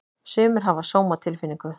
Sumir hafa sómatilfinningu.